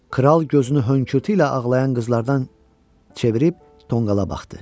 Kral gözünü hönkürtü ilə ağlayan qızlardan çevirib tonqala baxdı.